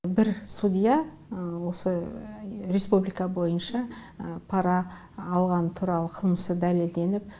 бір судья осы республика бойынша пара алғаны туралы қылмысы дәлелденіп